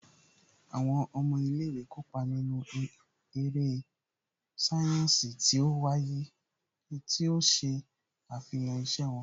Àwọn ọmọ ilé ìwé kópa nínú eré sáyẹ́ǹsì tí ó ṣe àfihàn iṣẹ́ wọn